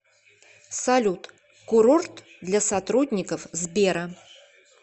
салют курорт для сотрудников сбера